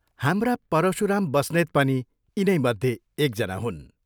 हाम्रा परशुराम बस्नेत पनि यिनैमध्ये एकजना हुन्।